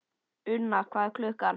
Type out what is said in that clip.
Unna, hvað er klukkan?